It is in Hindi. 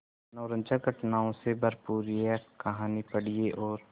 मनोरंजक घटनाओं से भरपूर यह कहानी पढ़िए और